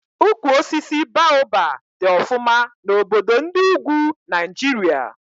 Ukwu osisi Baoba dị ọfụma na obodo ndị ugwu Naijiria